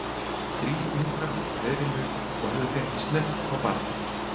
Þrír ungar voru í hreiðrinu og höfðu þeir ekki snert á barninu.